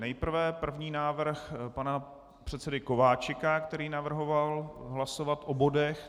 Nejprve první návrh pana předsedy Kováčika, který navrhoval hlasovat o bodech.